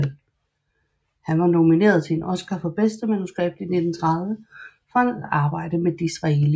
Han var nomineret til en Oscar for bedste manuskript i 1930 for hans arbejde med Disraeli